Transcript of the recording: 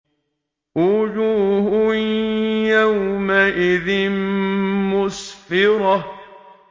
وُجُوهٌ يَوْمَئِذٍ مُّسْفِرَةٌ